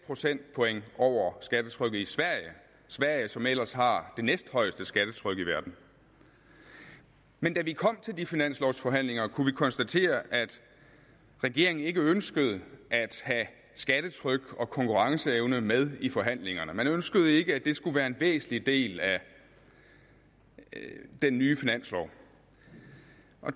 procentpoint over skattetrykket i sverige sverige som ellers har det næsthøjeste skattetryk i verden men da vi kom til de finanslovforhandlinger kunne vi konstatere at regeringen ikke ønskede at have skattetryk og konkurrenceevne med i forhandlingerne man ønskede ikke at det skulle være en væsentlig del af den nye finanslov